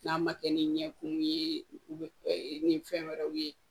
N'a ma kɛ ni ɲɛkun ye u be ni fɛn wɛrɛw ye